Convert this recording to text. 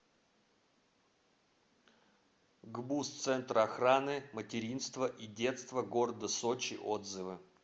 гбуз центр охраны материнства и детства города сочи отзывы